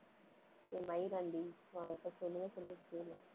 ஏ மயிராண்டி, நான் இப்ப தெளிவா சொல்றத கேளு